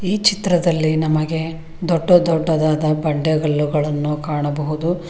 ಈ ಚಿತ್ರದಲ್ಲಿ ನಮಗೆ ದೊಡ್ಡ ದೊಡ್ಡದಾದ ಬಂಡೆಗಲ್ಲುಗಳನ್ನು ಕಾಣಬಹುದು.